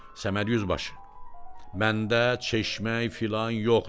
Səməd yüzbaşı, məndə çeşməyi filan yoxdur.